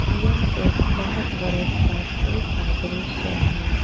यह एक बहुत बड़े फैक्ट्री का दृश्य है।